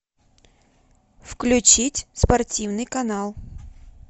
включить спортивный канал